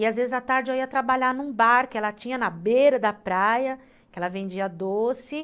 E às vezes, à tarde, eu ia trabalhar num bar que ela tinha na beira da praia, que ela vendia doce.